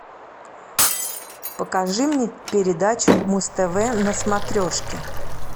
покажи мне передачу муз тв на смотрешке